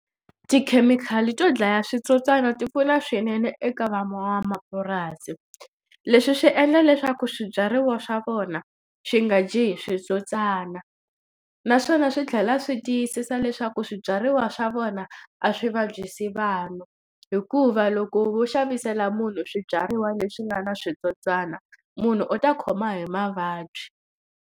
Tikhemikhali to dlaya switsotswana ti pfuna swinene eka van'wamapurasi leswi swi endla leswaku swibyariwa swa vona swi nga dyiwi hi switsotswana naswona swi tlhela swi tiyisisa leswaku swibyariwa swa vona a swi vabyisi vanhu hikuva loko wo xavisela munhu swibyariwa leswi nga na switsotswana munhu u ta khoma hi mavabyi.